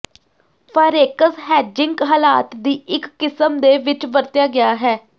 forex hedging ਹਾਲਾਤ ਦੀ ਇੱਕ ਕਿਸਮ ਦੇ ਵਿੱਚ ਵਰਤਿਆ ਗਿਆ ਹੈ